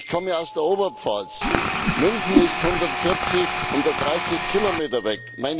Ich komme aus der Oberpfalz. München ist 130 Kilometer weg.